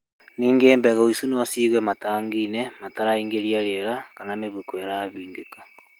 Ningĩ mbegũ icio no cigwo matangiinĩ mataraingĩria riera kana mĩhuko ĩrahingĩka.